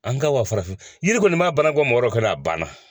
An ka wa farafin yiri kɔni b'a baara bɔ mɔgɔ wɛrɛ kɔnɔ a banna